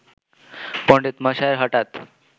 পণ্ডিতমশাই হঠাৎ